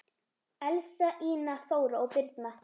Elsa, Ína, Þóra og Birna.